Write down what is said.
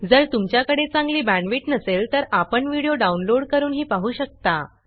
जर तुमच्याकडे चांगली बॅंडविड्त नसेल तर आपण व्हिडिओ डाउनलोड करूनही पाहू शकता